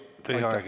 Aitäh!